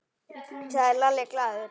sagði Lalli glaður.